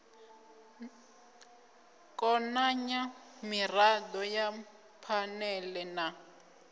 konanya mirado ya phanele na